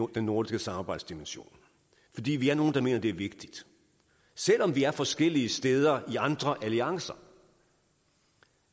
den nordiske samarbejdsdimension fordi vi er nogle der mener at det er vigtigt selv om vi er forskellige steder i andre alliancer